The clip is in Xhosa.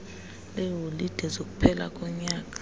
leeholide zokuphela konyaka